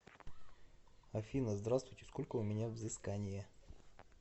афина здравствуйте сколько у меня взыскание